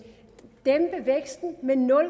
at dæmpe væksten med nul